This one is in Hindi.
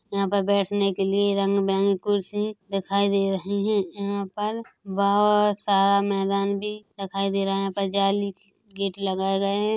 यहाँ पर बैठने के लिए रंग बिरंगे कुर्सी दिखाई दे रहे हैं यहाँ पर बहुत सारा मैदान भी दिखाई दे रहा है जाली के गेट लगाए गए हैं।